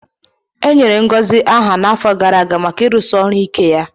Enyere Ngozi aha n'afọ gara aga maka ịrụsi ọrụ ike ya